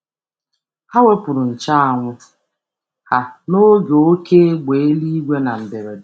Ha nyere onye ọzọ nche um anwụ ha karịrị n’oge oké mmiri ozuzo na um mberede.